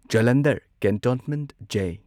Jalandhar cantonment J.